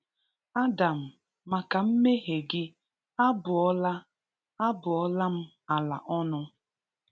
Adam maka mmehie gị, a bụọ la a bụọ la m ala ọnụ.